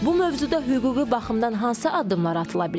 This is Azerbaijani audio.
Bu mövzuda hüquqi baxımdan hansı addımlar atıla bilər?